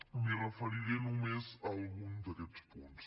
em referiré només a algun d’aquests punts